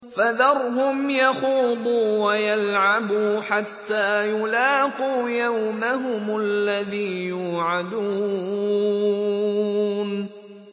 فَذَرْهُمْ يَخُوضُوا وَيَلْعَبُوا حَتَّىٰ يُلَاقُوا يَوْمَهُمُ الَّذِي يُوعَدُونَ